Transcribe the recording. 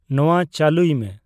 ᱱᱚᱣᱟ ᱪᱟᱞᱩᱭ ᱢᱮ